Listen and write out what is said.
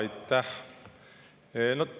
Aitäh!